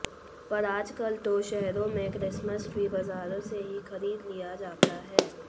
पर आज कल तो शहरो में क्रिसमस ट्री बाजारों से ही खरीद लिया जाता है